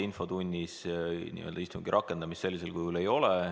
Infotunnis istungi rakendamist sellisel kujul ei ole.